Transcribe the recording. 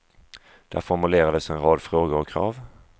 Där formulerades en rad frågor och krav.